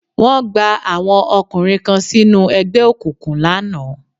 Wọ́n gba àwọn ọkùnrin kan sínú ẹgbẹ́ òkùnkùn lánàá